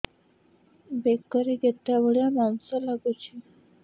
ବେକରେ ଗେଟା ଭଳିଆ ମାଂସ ଲାଗୁଚି